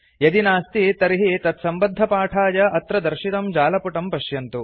यदि नास्ति तर्हि एतत्सम्बद्धपाठाय अत्र दर्शितं जालपुटं पश्यन्तु